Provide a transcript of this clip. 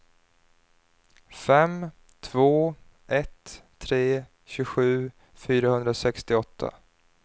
fem två ett tre tjugosju fyrahundrasextioåtta